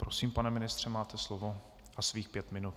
Prosím, pane ministře, máte slovo a svých pět minut.